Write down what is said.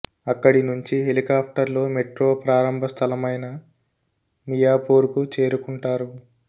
అక్కడి నుంచి హెలికాప్టర్ లో మెట్రో ప్రారంభ స్థలమైన మియాపూర్ కు చేరుకుంటారు